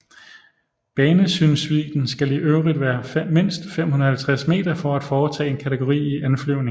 Banesynsvidden skal i øvrigt være mindst 550 meter for at foretage en kategori I anflyvning